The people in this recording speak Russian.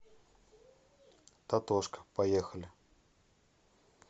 татошка поехали